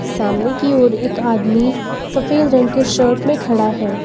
सामने की ओर एक आदमी सफेद रंग के शर्ट में खड़ा है।